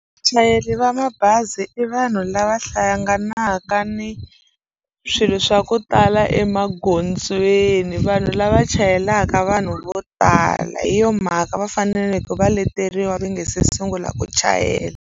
Vachayeri va mabazi i vanhu lava hlanganaka ni swilo swa ku tala emagondzweni vanhu lava chayelaka vanhu vo tala hi yo mhaka va faneleke va leteriwa va nga se sungula ku chayela.